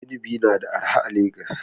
Inibi na da arha a Legas.